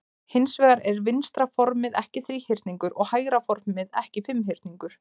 Hins vegar er vinstra formið ekki þríhyrningur og hægra formið er ekki fimmhyrningur.